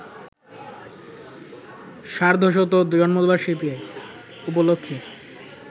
সার্ধশত জন্মবার্ষিকী উপলক্ষে